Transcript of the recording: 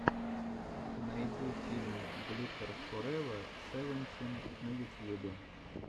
найди фильм глиттер форева севентин на ютьюбе